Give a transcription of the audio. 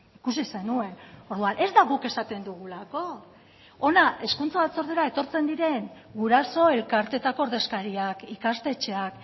ikusi zenuen orduan ez da guk esaten dugulako hona hezkuntza batzordera etortzen diren guraso elkarteetako ordezkariak ikastetxeak